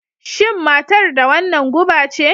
Shin matar da wannan guba ce?